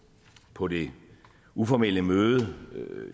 på det uformelle møde